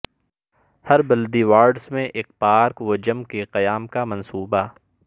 ہر بلدی وارڈس میں ایک پارک و جم کے قیام کا منصوبہ